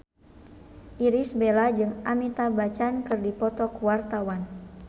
Irish Bella jeung Amitabh Bachchan keur dipoto ku wartawan